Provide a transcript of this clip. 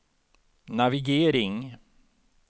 navigering